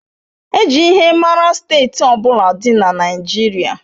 E ji ihe mara Steeti ọ bụla dị na Naịjirịa.